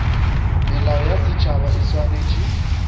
melao ya setšhaba e swanetše